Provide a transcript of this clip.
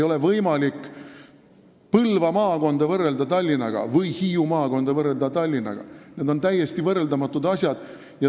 Põlva või Hiiu maakonda ei ole võimalik Tallinnaga võrrelda, need on täiesti võrreldamatud asjad.